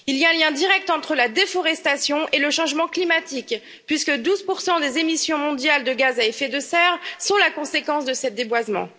Il y a un lien direct entre la déforestation et le changement climatique, puisque 12 des émissions mondiales de gaz à effet de serre sont la conséquence de ce déboisement.